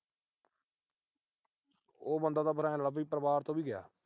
ਉਹ ਬੰਦਾ ਤਾਂ ਆਏ ਲਾ ਲੈ ਪਰਿਵਾਰ ਤੋਂ ਵੀ ਗਿਆ।